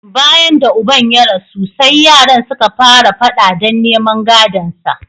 Bayan da uban ya rasu, sai yaran suka fara fada don neman gadonsa.